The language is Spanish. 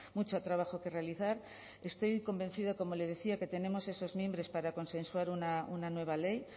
mucho trabajo que realizar estoy convencida como le decía que tenemos esos mimbres para consensuar una nueva ley